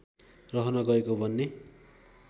रहन गएको भन्ने